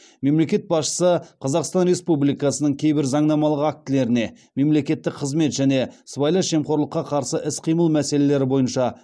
мемлекет басшысы қазақстан республикасының кейбір заңнамалық актілеріне мемлекеттік қызмет және сыбайлас жемқорлыққа қарсы іс қимыл мәселелері бойынша